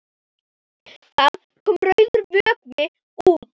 Það kom rauður vökvi út.